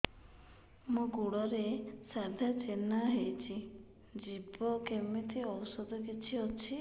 ମୋ ଗୁଡ଼ରେ ସାଧା ଚିହ୍ନ ହେଇଚି ଯିବ କେମିତି ଔଷଧ କିଛି ଅଛି